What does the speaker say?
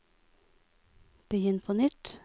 begynn på nytt